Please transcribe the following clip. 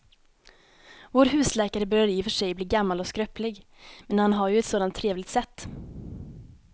Vår husläkare börjar i och för sig bli gammal och skröplig, men han har ju ett sådant trevligt sätt!